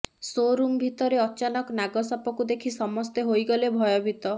show room ଭିତରେ ଅଚାନକ ନାଗ ସାପକୁ ଦେଖି ସମସ୍ତେ ହୋଇଗଲେ ଭୟବୀତ